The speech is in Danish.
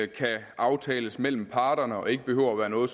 kan aftales mellem parterne og ikke behøver at være noget